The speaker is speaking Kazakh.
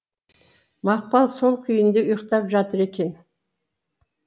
мақпал сол күйінде ұйықтап жатыр екен